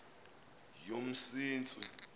yomsintsi